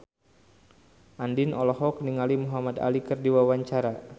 Andien olohok ningali Muhamad Ali keur diwawancara